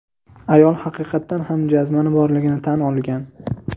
Ayol haqiqatan ham jazmani borligini tan olgan.